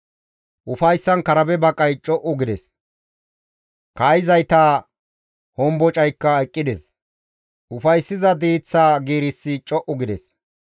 Ufayssan karabe baqay co7u gides; kaa7izayta hombocaykka eqqides; ufayssiza diiththa giirissi co7u gides.